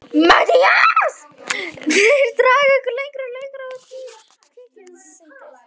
MATTHÍAS: Þeir draga ykkur lengra og lengra út í kviksyndið!